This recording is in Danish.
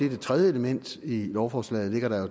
et tredje element i lovforslaget ligger der